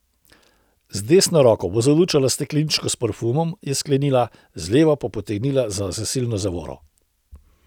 Z desno roko bo zalučala stekleničko s parfumom, je sklenila, z levo pa potegnila za zasilno zavoro.